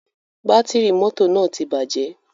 Bátìrì mọ́tò náà ti bàjẹ̀.